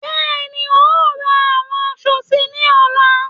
Bẹ́ẹ̀ni, ń ó ra àwọn aṣọ síí ni ọ̀la